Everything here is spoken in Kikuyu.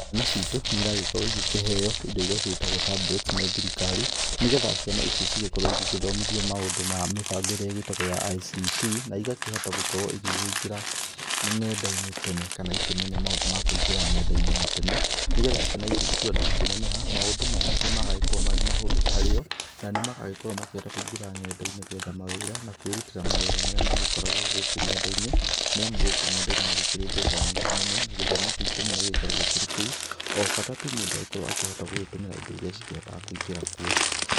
Ciana citũ nĩ iragĩkorwo igĩkĩheo indo iria cigĩtagwo tablets nĩ thirikari, nĩ getha ciana ici cigĩkorwo igĩthomithio maũndũ ma mĩbango ĩrĩa ĩgĩtagwo ya ICT na ĩgakĩhota gũkorwo igĩkĩingĩra nenda-inĩ tene kana ikĩmenya maũndũ ma kũingĩra nenda-inĩ na tene, nĩgetha ciana icio ikiuga nĩ gũkĩneneha, maũndũ maya nĩ magagĩkorwo marĩ mahũthũ harĩ o na nĩ magagĩkorwo makĩhota kũingĩra nenda-inĩ gwetha mawĩra na kwĩrutĩra mawĩra marĩa magĩkoragwo gũkũ ng'enda-inĩ, nĩ amu gũkũ ng'enda-inĩ nĩ gũkĩrĩ mbeca nyingĩ mũno na gĩthomo kĩ-ingĩ mũno gĩgĩkoragwo kĩrĩ kou o bata tu mũndũ agĩkoragwo akĩhota gũgĩtũmĩra indo iria cikĩhotaga kũingĩra kuo.